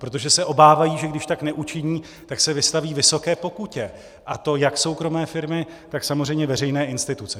Protože se obávají, že když tak neučiní, tak se vystaví vysoké pokutě, a to jak soukromé firmy, tak samozřejmě veřejné instituce.